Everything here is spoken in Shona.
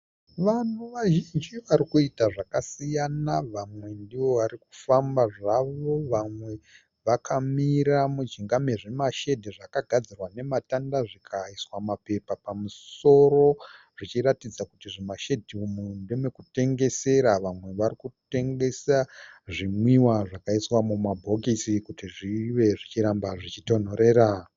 Vanhu vazhinji varikuita zvakasiyana vamwe ndivo varikufamba zvavo vamwe vakamira mujinga mezvimashedhi zvakagadzirwa nematanda zvikaiswa mapepa pamusoro zvichiratidza kuti zvimashedhi umu ndemekutengesera. Vamwe varikutengesa zvinwiwa zvakaiswa mumabhokisi kuti zvive zvichiramba zvichitonhorera.